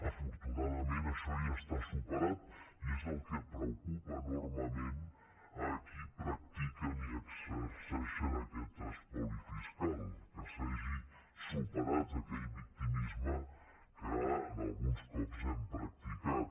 afortunadament això ja està superat i és el que preocupa enormement als qui practiquen i exerceixen aquest espoli fiscal que s’hagi superat aquell victimisme que alguns cops hem practicat